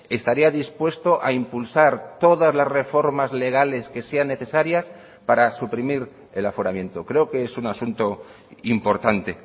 estaría dispuesto a impulsar todas las reformas legales que sean necesarias para suprimir el aforamiento creo que es un asunto importante